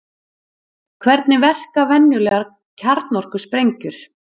Hvernig verka venjulegar kjarnorkusprengjur?